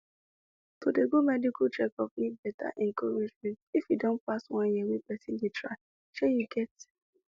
to dey go medical checkup need better encouragement if e don pass one year wey person dey try shey you get